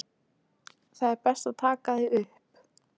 Ari fann kviðinn herpast af gamalkunnri og notalegri spennu.